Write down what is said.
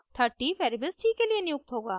30 variable c के लिए नियुक्त होगा